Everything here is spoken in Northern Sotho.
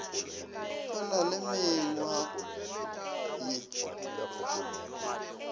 o na le mengwa ye